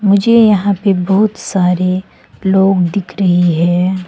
मुझे यहां पे बहुत सारे लोग दिख रही है।